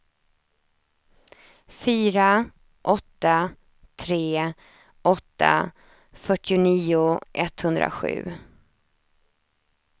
fyra åtta tre åtta fyrtionio etthundrasju